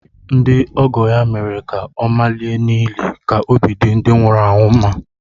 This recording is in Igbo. Ndị ọgọ ya mere ka ọ malie n’ili ka obi dị ndị nwụrụ anwụ mma